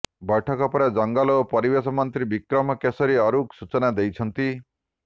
ବୈଠକ ପରେ ଜଙ୍ଗଲ ଓ ପରିବେଶ ମନ୍ତ୍ରୀ ବିକ୍ରମ କେଶରୀ ଆରୁଖ ସୂଚନା ଦେଇଛନ୍ତି